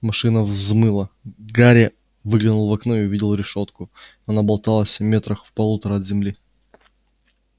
машина взмыла гарри выглянул в окно и увидел решётку она болталась в метрах в полутора от земли